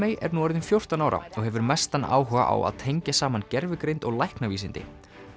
er nú orðinn fjórtán ára og hefur mestan áhuga á að tengja saman gervigreind og læknavísindi